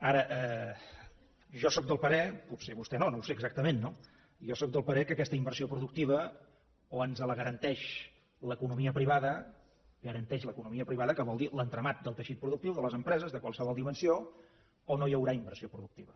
ara jo sóc del parer potser vostè no no ho sé exactament no que aquesta inversió productiva o ens la garanteix l’economia privada la garanteix l’economia privada que vol dir l’entramat del teixit productiu de les empreses de qualsevol dimensió o no hi haurà inversió productiva